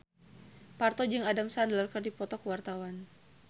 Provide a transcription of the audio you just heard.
Parto jeung Adam Sandler keur dipoto ku wartawan